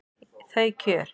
Þau kjör